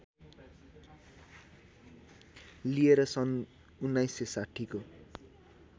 लिएर सन् १९६० को